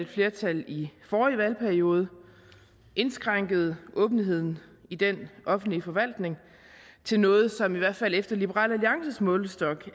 flertal i forrige valgperiode indskrænkede åbenheden i den offentlige forvaltning til noget som i hvert fald efter liberal alliances målestok